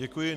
Děkuji.